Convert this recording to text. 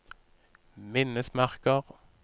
minnesmerker